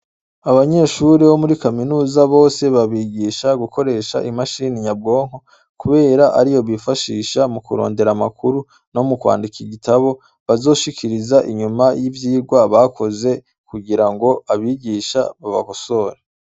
Abanyeshure bo muri kaminuza bose babigisha gukoresha imashini nyabwonko kubera ariyo bifashisha mu kurondera amakuru no mu kwandika igitibo bazoshikiriza inyuma y' ivyigwa bakoze kugira ngo abigisha babakosore.